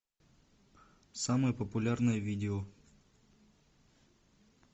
самое популярное видео